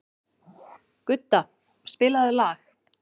Gudda, spilaðu lag.